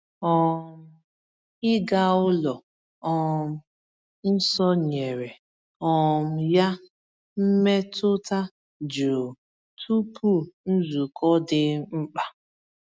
um Ịga ụlọ um nsọ nyere um ya mmetụta jụụ tupu nzukọ dị mkpa.